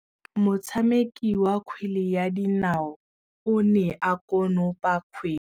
Motshameki wa kgwele ya dinaô o ne a konopa kgwele.